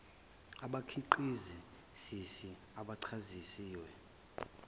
abakhiqizi sisi abachaziwe